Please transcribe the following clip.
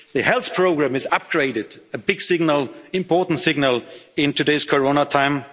on the table. The health programme is upgraded a big signal, an important signal, in today's